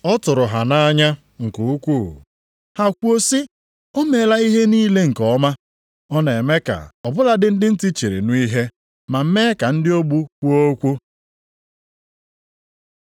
Ọ tụrụ ha nʼanya nke ukwuu, ha kwuo sị, “O meela ihe niile nke ọma. Ọ na-eme ka ọ bụladị ndị ntị chiri nụ ihe, ma mee ka ndị ogbi kwuo okwu.”